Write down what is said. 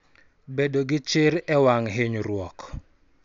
Bedo gi chir e wang� hinyruok